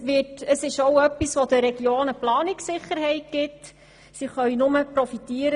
Das gibt den Regionen auch Planungssicherheit, und davon können sie nur profitieren.